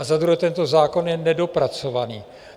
A za druhé, tento zákon je nedopracovaný.